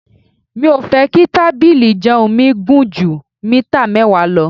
Mi ò fẹ́ kí tábìlì ìjẹun mi gùn ju mítà mẹ́wàá lọ.